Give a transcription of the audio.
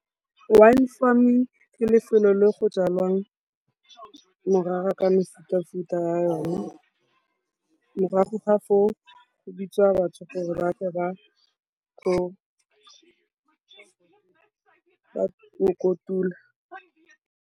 Wine farming ke lefelo le go jwalwang morara ka mefutafuta ya yone, morago ga foo go bidiwa batho gore ba tle go kotula.